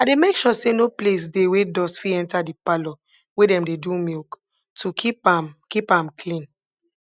i dey make sure say no place dey wey dust fit enta de parlor wey dem dey do milk to keep am keep am clean